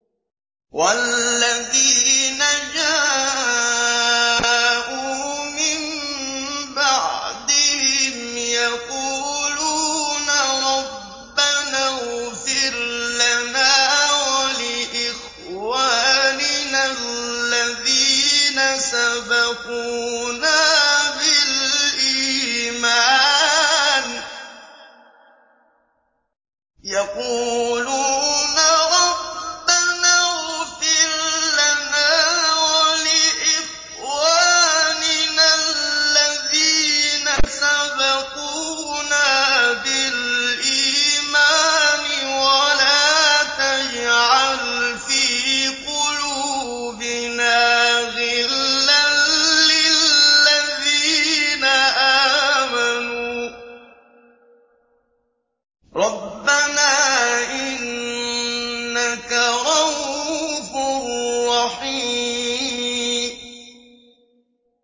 وَالَّذِينَ جَاءُوا مِن بَعْدِهِمْ يَقُولُونَ رَبَّنَا اغْفِرْ لَنَا وَلِإِخْوَانِنَا الَّذِينَ سَبَقُونَا بِالْإِيمَانِ وَلَا تَجْعَلْ فِي قُلُوبِنَا غِلًّا لِّلَّذِينَ آمَنُوا رَبَّنَا إِنَّكَ رَءُوفٌ رَّحِيمٌ